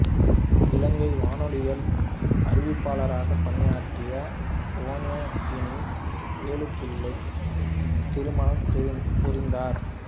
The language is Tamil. இலங்கை வானொலியில் அறிவிப்பாளராகப் பணியாற்றிய புவனோஜினி வேலுப்பிள்ளையைத் திருமணம் புரிந்தார்